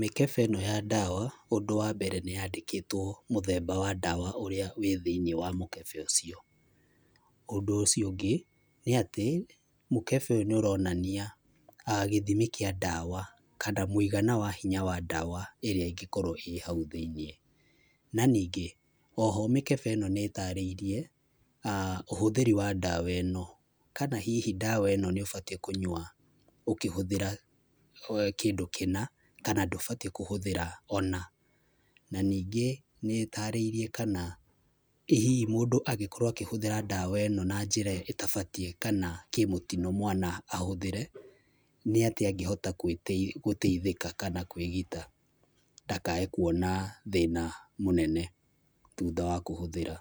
Mĩkebe ĩno ya ndawa ũndũ wa mbere nĩyandĩkĩtwo mũthemba wa ndawa ũrĩa wĩ thĩiniĩ wa mũkebe ũcio. Ũndũ ũcio ũngĩ, nĩ atĩ mũkebe ũyũ nĩ ũronania gĩthimi kĩa ndawa kana mũigana wa hinya wa ndawa ĩrĩa ĩngĩkorwo ĩ hau thĩiniĩ. Na ningĩ, oho mĩkebe ĩno nĩĩtarĩirie ũhũthĩri wa ndawa ĩno, kana hihi ndawa ĩno nĩũbatiĩ kũnyua ũkĩhũthĩra kĩndũ kĩna, kana ndũbatiĩ kũhũthĩra ona. Na ningĩ, nĩĩtarĩirie kana ĩ hihi mũndũ angĩkorwo akĩhũthĩra ndawa ĩno na njĩra ĩtabatiĩ kana kĩmũtino mwana ahũthĩre, nĩ atĩa agĩhota gũteithĩka kana kwĩgita ndakae kuona thĩna mũnene thutha wa kũhũthĩra.